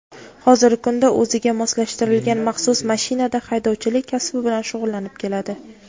hozirgi kunda o‘ziga moslashtirilgan maxsus mashinada haydovchilik kasbi bilan shug‘ullanib keladi.